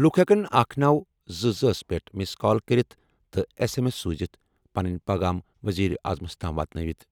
لوٗکھ ہٮ۪کَن 1922 ہَس منٛز مِس کال کٔرِتھ تہٕ ایس ایم ایس سوزِتھ پنٕنۍ پٲغام وزیر اعظمَس تام واتنٲوِتھ۔